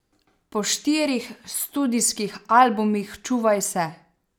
Po štirih studijskih albumih Čuvaj se!